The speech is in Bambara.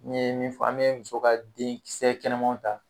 N ye min fɔ an be muso ka denkisɛ kɛnɛmanw ta